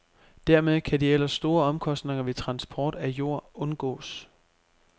Dermed kan de ellers store omkostninger ved transport af jord undgås.